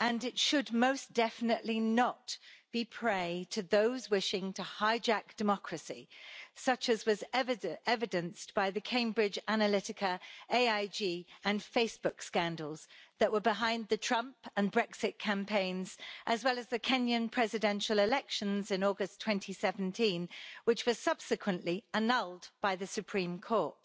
and it should most definitely not be prey to those wishing to hijack democracy, such as was evidenced by the Cambridge Analytica, AIG and Facebook scandals that were behind the Trump and Brexit campaigns and the Kenyan presidential election in August 2017, which was subsequently annulled by the Supreme Court.